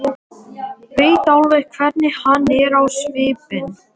Veit alveg hvernig hann er á svipinn.